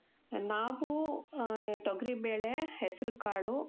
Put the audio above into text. ನಾವೂ, ಆ, ತೊಗ್ರಿಬೇಳೆ, ಹೆಸ್ರುಕಾಳು,